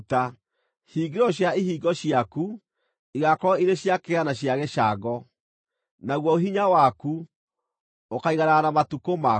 Hingĩro cia ihingo ciaku igaakorwo irĩ cia kĩgera na cia gĩcango, naguo hinya waku ũkaaiganana na matukũ maku.